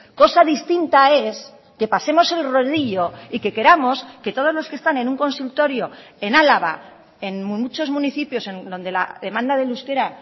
cosa distinta es que pasemos el rodillo y que queramos que todos los que están en un consultorio en álava en muchos municipios donde la demanda del euskera